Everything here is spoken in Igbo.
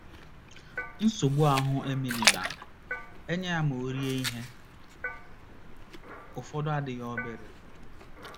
Nsogbu ahụ́ Emily na - enye ya ma o rie ihe ụfọdụ adịghị obere.